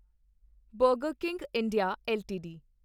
burger king India LTD